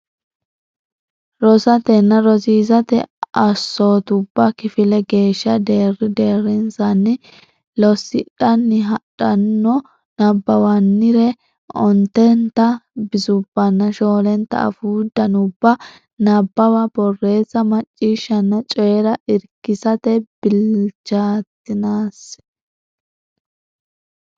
Rosatenna rosiisate assootubba kifile geeshsha deerri deerrinsanni lossidhanni hadhanno nabbawannire ontenta bisubbanna shoolenta afuu danduubba nabbawa borreessa macciishshanna coyi ra irkissate bilchaatinsanni.